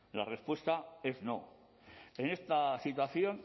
la respuesta es no en esta situación